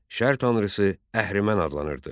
Şər tanrısı əhrimən adlanırdı.